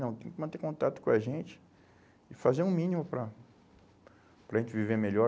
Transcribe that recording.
Não, tem que manter contato com a gente e fazer o mínimo para para a gente viver melhor,